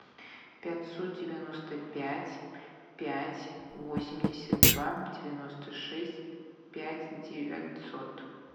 пятьсот девяносто пять пять восемьдесят два девяносто шесть пять девятьсот